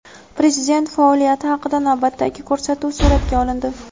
prezident faoliyati haqida navbatdagi ko‘rsatuv suratga olindi.